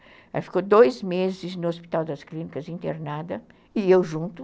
Ela ficou dois meses no Hospital das Clínicas internada e eu junto.